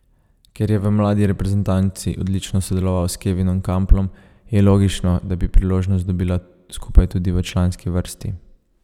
Ker je v mladi reprezentanci odlično sodeloval s Kevinom Kamplom, je logično, da bi priložnost dobila skupaj tudi v članski vrsti.